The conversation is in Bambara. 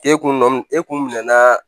E kun e kun minɛn na